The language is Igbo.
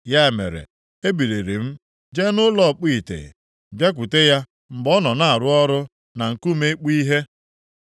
Ya mere, ebiliri m jee nʼụlọ ọkpụ ite, bịakwute ya mgbe ọ nọ na-arụ ọrụ na nkume ịkpụ ihe.